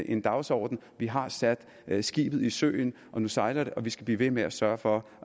en dagsorden vi har sat skibet i søen nu sejler det og vi skal blive ved med at sørge for